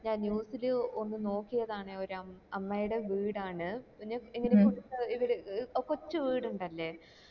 news ല് ഒന്ന് നോക്കിയതാണ് ഒരു അമ്മയുടെ വീട് ആണ് ഇവിടെ കോച്ച് വീടിണ്ടല്ലേ